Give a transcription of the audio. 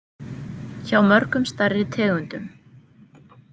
Hjá mörgum stærri tegundum.